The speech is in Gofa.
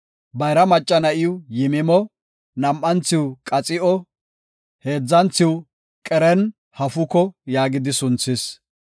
Bayra macca na7iw Yimimo, nam7anthiw Qaxi7o, heedzanthiw Qerenhafuko yaagidi sunthis.